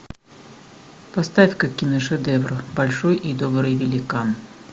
поставь ка киношедевр большой и добрый великан